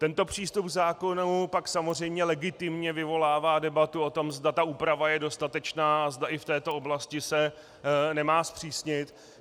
Tento přístup k zákonu pak samozřejmě legitimně vyvolává debatu o tom, zda ta úprava je dostatečná a zda i v této oblasti se nemá zpřísnit.